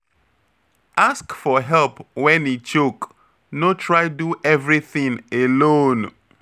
Ask for help when e choke, no try do everything alone